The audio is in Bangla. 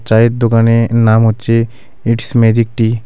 চায়ের দোকানের নাম হচ্ছে ইটস ম্যাজিক টি .